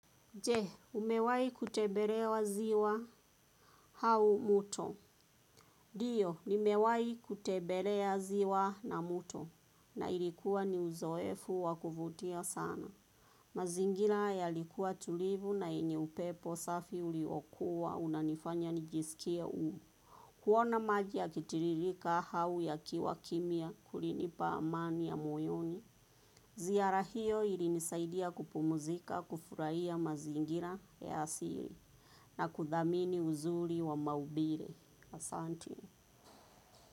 Je, umewahi kutembelewa ziwa au mto. Ndiyo, nimewahi kutembelea ziwa na mto. Na ilikuwa ni uzoefu wa kuvutia sana. Mazingira yalikuwa tulivu na yenye upepo safi uliokuwa unanifanya nijisikie huru. Kuona maji yakitiririka au yakiwa kimya kulinipa amani ya moyoni. Ziara hiyo ilinisaidia kupumzika kufurahia mazingira ya asili. Na kudhamini uzuri wa maumbile. Asante.